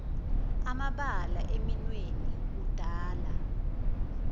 amabala eminweni udala